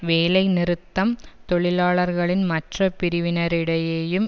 வேலைநிறுத்தம் தொழிலாளர்களின் மற்ற பிரிவினரிடையேயும்